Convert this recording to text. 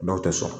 Dɔw tɛ sɔn